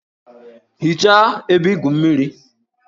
Hichaa ebe igwu mmiri!